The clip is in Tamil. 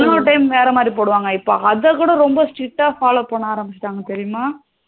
இன்னொரு time வேற மாதிரி போடுவாங்க இப்போ அத கூட ரொம்ப strict ட fellow பண்ண ஆரமிசிடாங்க தெரியுமா